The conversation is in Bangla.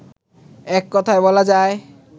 এককথায় বলা যায়